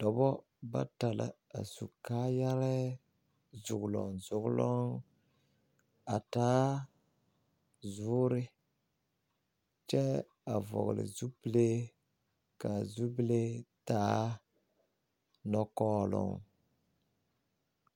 Dɔba bata la su kaayɛrɛɛ zoglɔŋ zoglɔŋ a taa zoore kyɛ a vɔgle zupile ka a zupile taa nɔkɔɔloŋ.